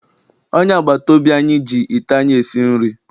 Onye agbataobi anyị ji ite anyị esi nri.